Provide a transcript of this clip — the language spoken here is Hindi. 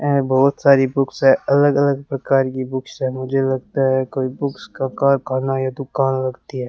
ये बहोत सारी बुक्स है अलग अलग प्रकार की बुक्स है मुझे लगता है कोई बुक्स का कारखाना या दुकान लगती है।